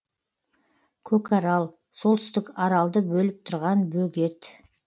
көкарал солтүстік аралды бөліп тұрған бөгет